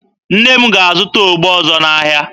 Nne m ga-azụta ogbo ọzọ n'ahịa.